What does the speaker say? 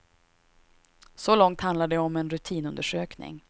Så långt handlar det om en rutinundersökning.